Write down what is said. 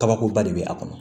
Kabakoba de bɛ a kɔnɔ